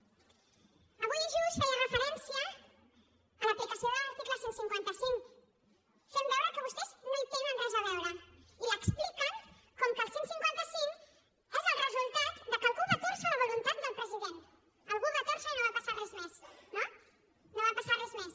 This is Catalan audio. avui just feia referència a l’aplicació de l’article cent i cinquanta cinc fent veure que vostès no hi tenen res a veure i l’expliquen com que el cent i cinquanta cinc és el resultat de que algú va tòrcer la voluntat del president algú ho va tòrcer i no va passar res més no no va passar res més